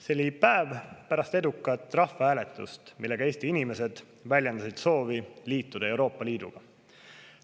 " See oli päev pärast edukat rahvahääletust, millega Eesti inimesed väljendasid soovi liituda Euroopa Liiduga.